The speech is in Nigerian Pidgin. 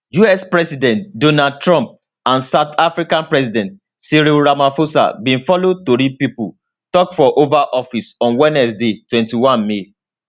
us president donald trump and south african president cyril ramaphosa bin follow tori pipo tok for oval office on wednesday 21 may